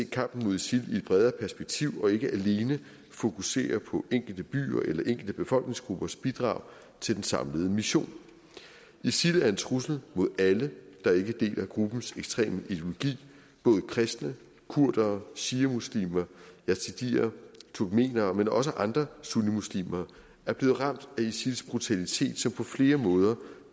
kampen mod isil i et bredere perspektiv og ikke alene fokusere på enkelte byers eller enkelte befolkningsgruppers bidrag til den samlede mission isil er en trussel mod alle der ikke deler gruppens ekstreme ideologi både kristne kurdere shiamuslimer yazidier og turkmenere men også andre sunnimuslimer er blevet ramt af isils brutalitet som på flere måder